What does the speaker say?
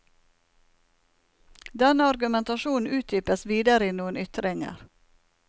Denne argumentasjonen utdypes videre i noen ytringer.